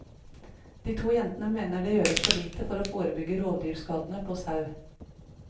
De to jentene mener det gjøres for lite for å forebygge rovdyrskadene på sau.